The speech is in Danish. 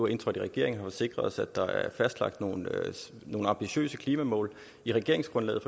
indtrådt i regering og har sikret os at der er fastlagt nogle ambitiøse klimamål i regeringsgrundlaget